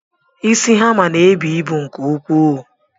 Isi hammer ná-ebu ịbụ nke ukwuu.